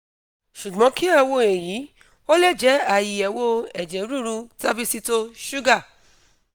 sugbon ki a wo eyi - o le je aiyewo eje ruru tabicito suga